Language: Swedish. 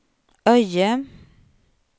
Öje